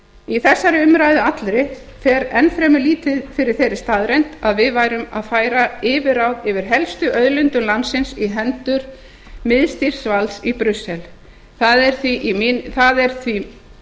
í þessari umræðu allri fer enn fremur lítið fyrir þeirri staðreynd að við værum að færa yfirráð yfir helstu auðlindum landsins í hendur miðstýrðs valds í brussel það er því